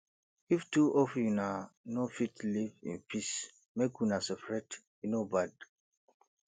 if two of una no fit live in peace make una separate e no bad